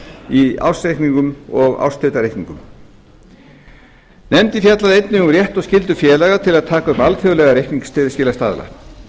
í ársreikningum og árshlutareikningum nefndin fjallaði einnig um rétt og skyldu félaga til að taka upp alþjóðlega reikningsskilastaðla